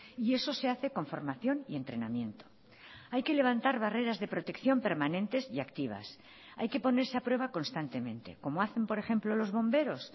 y eso se hace con formación y entrenamiento hay que levantar barreras de protección permanentes y activas hay que ponerse a prueba constantemente como hacen por ejemplo los bomberos